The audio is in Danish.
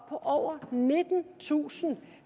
på over nittentusind